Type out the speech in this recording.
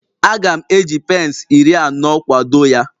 Aga m eji pence iri anọ kwado ya